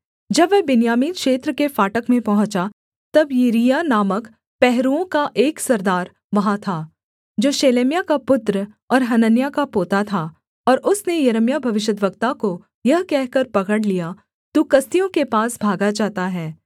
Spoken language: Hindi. जब वह बिन्यामीन क्षेत्र के फाटक में पहुँचा तब यिरिय्याह नामक पहरुओं का एक सरदार वहाँ था जो शेलेम्याह का पुत्र और हनन्याह का पोता था और उसने यिर्मयाह भविष्यद्वक्ता को यह कहकर पकड़ लिया तू कसदियों के पास भागा जाता है